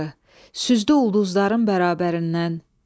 Süzdü ulduzların bərabərindən.